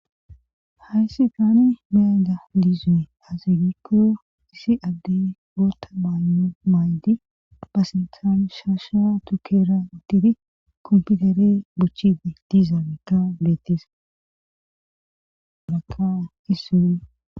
hayssi taani miyada liizune azigikko isi adde goota maayo maydi pasintan shaasha tukera ittidi komputere bochide diiza makka betis maka issune